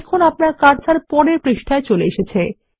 দেখুন আপনার কার্সার পরের পৃষ্ঠায় চলে এসেছে